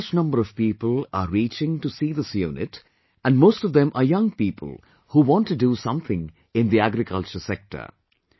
A large number of people are reaching to see this unit, and most of them are young people who want to do something in the agriculture sector